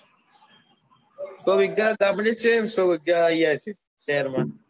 સો વિગા ગામડે છે સો વિગ્ગા અહિયાં છે સહેરમાં.